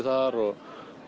þar og